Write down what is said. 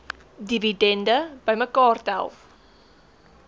dividende bymekaar tel